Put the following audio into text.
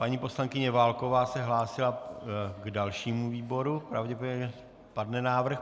Paní poslankyně Válková se hlásila k dalšímu výboru, pravděpodobně padne návrh.